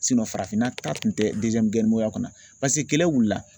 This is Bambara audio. farafinna ta kun tɛ kɔnɔ paseke kɛlɛ wuli